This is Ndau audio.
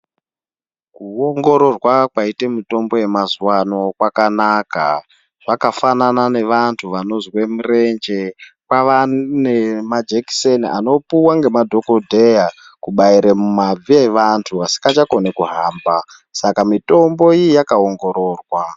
Kuongororwa kwaite mitombo yemazuwa ano kwakanaka. Zvakafanana nevantu vanozwe mirenje kwava nemajekiseni anopuwa ngemadhokodheya kubaire mumabvi evantu asingachakoni kuhamba, saka mitombo iyi yakaongororwa.